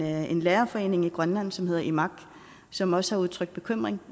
er en lærerforening i grønland som hedder imak som også har udtrykt bekymring